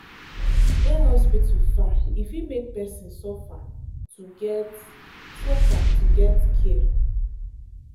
when hospital far e fit make person suffer to get suffer to get care.